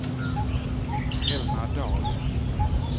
Elna Dahl